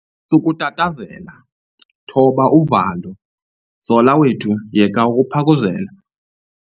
Sukutatazela, thoba uvalo. zola wethu yeka ukuphakuzela